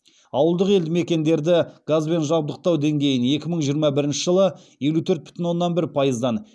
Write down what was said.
ауылдық елдімекендерді газбен жабдықтау деңгейін екі мың жиырма бірінші жылы елу төрт бүтін оннан бір пайыздан